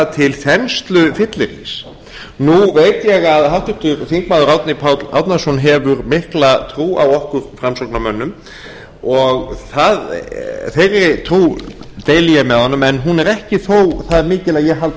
til þenslufyllirís nú veit ég að háttvirtur þingmaður árni páll árnason hefur mikla trú á okkur framsóknarmönnum þeirri trú deili ég með honum en hún er þó ekki það mikil að ég haldi